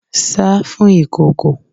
Sá fún ìkòkò!